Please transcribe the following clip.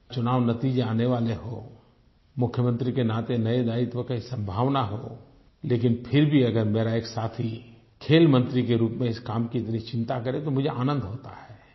चुनाव नतीजे आने वाले हों मुख्यमंत्री के नाते नये दायित्व की संभावना हो लेकिन फिर भी अगर मेरा एक साथी खेल मंत्री के रूप में इस काम की इतनी चिंता करे तो मुझे आनंद होता है